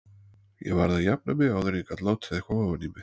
Ég varð að jafna mig áður en ég gat látið eitthvað ofan í mig.